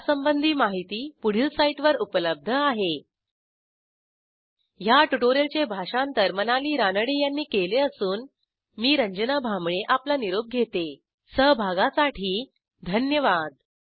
यासंबंधी माहिती पुढील साईटवर उपलब्ध आहेhttpspoken tutorialorgNMEICT Intro ह्या ट्युटोरियलचे भाषांतर मनाली रानडे यांनी केले असून मी रंजना भांबळे आपला निरोप घेते160 सहभागासाठी धन्यवाद